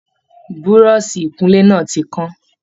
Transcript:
Buroṣi ikunle náà ti kán.